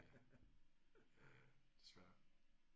Ja ja ja desværre